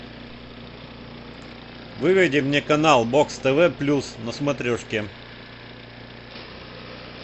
выведи мне канал бокс тв плюс на смотрешке